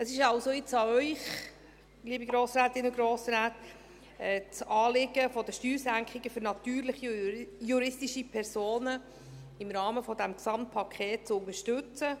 Es ist also jetzt an Ihnen, liebe Grossrätinnen und Grossräte, das Anliegen der Steuersenkungen für natürliche und juristische Personen im Rahmen dieses Gesamtpakets zu unterstützen.